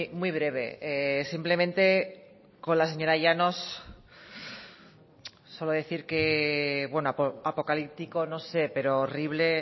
muy breve simplemente con la señora llanos solo decir que apocalíptico no sé pero horrible